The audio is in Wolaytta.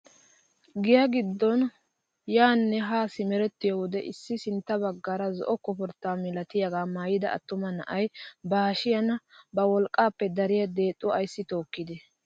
GIyaa giddon yaanne haa simerettiyoo wode issi sintta baggaara zo'o koporttaa milatiyaagaa maayida attuma na'ay ba hashshiyaan ba wolqqaappe dariyaa deexuwaa ayssi tookkide?